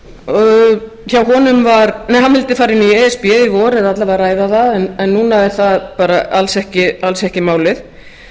í e s b í vor eða alla vega ræða það en núna er það bara alls ekki málið